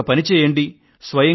మీరొక పని చేయండి